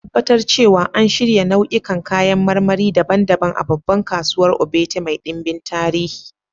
Ka Tabbatar cewa an shirya nau'ikan kayan marmari daban-daban a babbar kasuwar Ogbete mai dimbin tarihi